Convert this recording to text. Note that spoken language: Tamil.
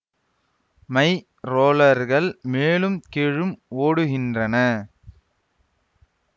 மை ரோலர்கள் மேலும் கீழும் ஓடுகின்றன